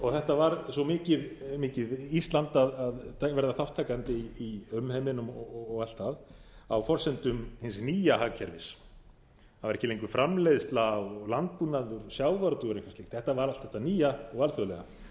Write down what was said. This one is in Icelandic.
og þetta var svo mikið ísland að verða þátttakandi í umheiminum og allt það á forsendum hins nýja hagkerfis það var ekki lengur framleiðsla á landbúnaði og sjávarútvegur og eitthvað slíkt þetta var allt þetta nýja og alþjóðlega